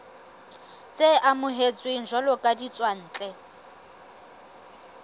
tse amohetsweng jwalo ka ditswantle